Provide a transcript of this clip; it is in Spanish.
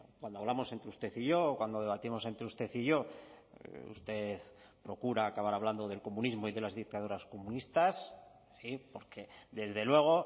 cuando hablamos entre usted y yo o cuando debatimos entre usted y yo usted procura acabar hablando del comunismo y de las dictaduras comunistas porque desde luego